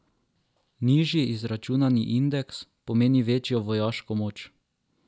Nižji izračunani indeks, pomeni večjo vojaško moč.